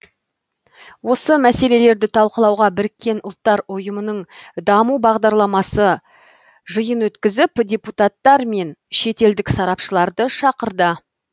осы мәселелерді талқылауға біріккен ұлттар ұйымының даму бағдарламасы жиын өткізіп депутаттар мен шетелдік сарапшыларды шақырды